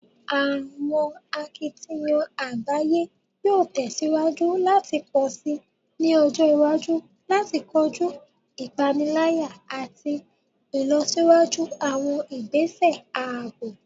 Awọn akitiyan agbaye yoo tẹsiwaju lati pọ si ni ọjọ iwaju lati koju ipanilaya ati ilọsiwaju awọn igbese aabo